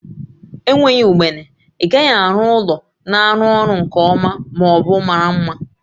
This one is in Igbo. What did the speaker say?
Enweghị ugbene, ị gaghị arụ ụlọ na-arụ ọrụ nke ọma ma ọ bụ mara mma